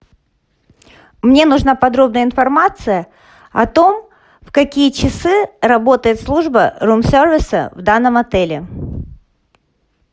мне нужна подробная информация о том в какие часы работает служба рум сервиса в данном отеле